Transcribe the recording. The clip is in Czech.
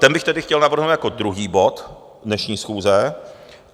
Ten bych tedy chtěl navrhnout jako druhý bod dnešní schůze.